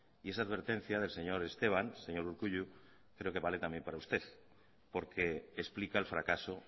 y esa advertencia del señor esteban señor urkullu creo que vale también para usted porque explica el fracaso